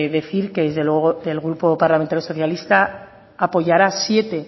decir que desde luego el grupo parlamentario socialista apoyará siete